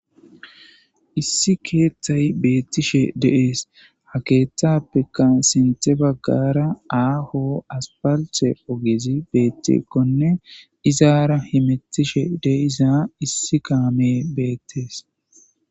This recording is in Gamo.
issi keeththay beettishe deees ha keeththappeka sinte baggara aaho aspalithe ogizi beettikkone izaara himettishe de iza issi kaame beettees